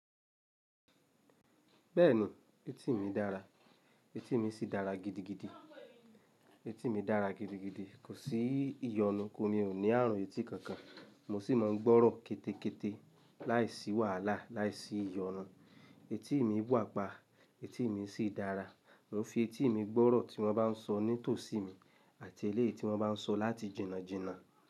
Bẹ́ẹ̀ni, etí mi dára, etí mi sì dára gidigidi. Etí mi dára gidigidi, kò sí ìyọnu, kí n ò ní ààrùn etí kankan. Mo sì mọ̀ n gbọ́rọ̀ kẹ́tẹ́kẹ́tẹ́ láìsí wàhálà, láìsí ìyọnu. Etí mi wà pa, etí mi sì dára. Mo n fi etí mi gbọ́rọ̀ tí wọ́n bá ń sọ nítòsí mi àti eléyìí tí wọ́n bá ń sọ láti jìnnàjìnnà.